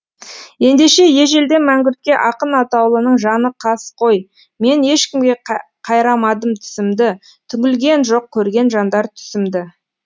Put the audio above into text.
ендеше ежелден мәңгүртке ақын атаулының жаны қас қой мен ешкімге қайрамадым тісімді түңілген жоқ көрген жандар түсімді